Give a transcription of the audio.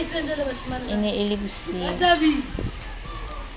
e ne e le bosiu